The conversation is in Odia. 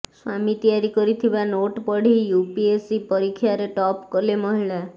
ସ୍ୱାମୀ ତିଆରି କରିଥିବା ନୋଟ୍ ପଢ଼ି ୟୁପିଏସି ପରୀକ୍ଷାରେ ଟପ୍ କଲେ ମହିଳା